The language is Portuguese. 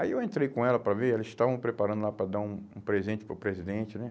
Aí eu entrei com ela para ver, elas estavam preparando lá para dar um um presente para o presidente, né?